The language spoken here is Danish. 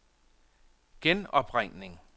genopringning